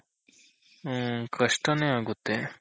ಹ್ಮ್ ಕಷ್ಟ ನೆ ಆಗುತ್ತೆ.